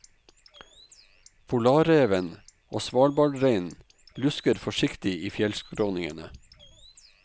Polarreven og svalbardreinen lusker forsiktig i fjellskråningene.